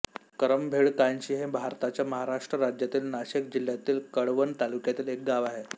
करंभेळकानशी हे भारताच्या महाराष्ट्र राज्यातील नाशिक जिल्ह्यातील कळवण तालुक्यातील एक गाव आहे